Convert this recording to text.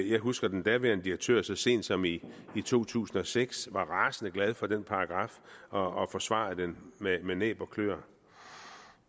jeg husker at den daværende direktør så sent som i to tusind og seks var rasende glad for den paragraf og forsvarede den med næb og kløer